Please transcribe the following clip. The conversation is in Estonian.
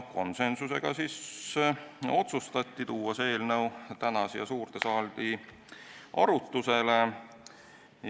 Konsensuslikult otsustati tuua see eelnõu täna siia suurde saali arutlusele.